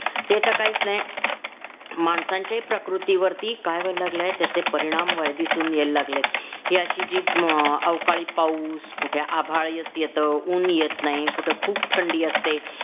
ते तर काहीच नाही माणसांची प्रकृती वरती काय व्हायला लागलंय की त्याचे परिणाम वर दिसून यायला लागलेत हि अशी जी हम्म अवकाळी पाऊस कुठे आभाळ येत येत ऊन येत नाही कुठे खूप थंडी असते